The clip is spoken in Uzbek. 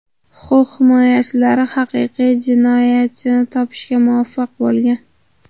Huquq himoyachilari haqiqiy jinoyatchini topishga muvaffaq bo‘lgan.